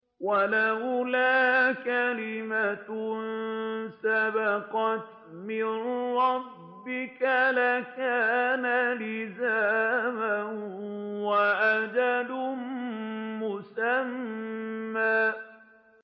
وَلَوْلَا كَلِمَةٌ سَبَقَتْ مِن رَّبِّكَ لَكَانَ لِزَامًا وَأَجَلٌ مُّسَمًّى